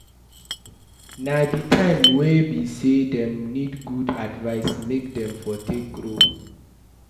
Na di time way be say dem need good advice make dem for take grow